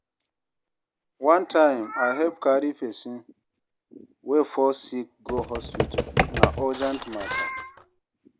One time, I help carry person wey fall sick go hospital, na urgent matter.